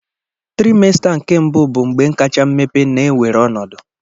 Trimester nke mbu bụ mgbe kacha mmepe na-ewere ọnọdụ.